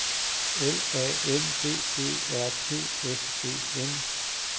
L A M B E R T S E N